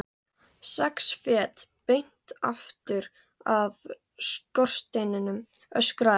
Sex fet beint aftur af skorsteininum, öskraði hann.